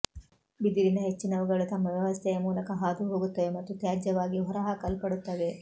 ಬಿದಿರಿನ ಹೆಚ್ಚಿನವುಗಳು ತಮ್ಮ ವ್ಯವಸ್ಥೆಯ ಮೂಲಕ ಹಾದುಹೋಗುತ್ತವೆ ಮತ್ತು ತ್ಯಾಜ್ಯವಾಗಿ ಹೊರಹಾಕಲ್ಪಡುತ್ತವೆ